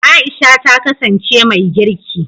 Aisha ta kasance mai girki.